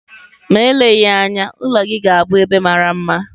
Ma eleghị anya, ụlọ gị ga-abụ ebe mara mma